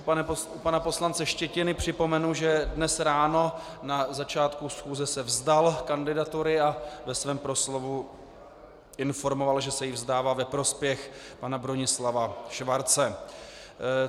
U pana poslance Štětiny připomenu, že dnes ráno na začátku schůze se vzdal kandidatury a ve svém proslovu informoval, že se jí vzdává ve prospěch pana Bronislava Švarce.